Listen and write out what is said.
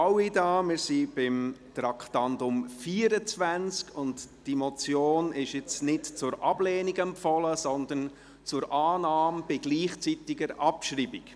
Wir sind beim Traktandum 24, und diese Motion ist nun nicht zur Ablehnung empfohlen, sondern zur Annahme bei gleichzeitiger Abschreibung.